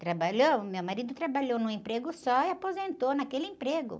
Trabalhou, meu marido trabalhou num emprego só e aposentou naquele emprego.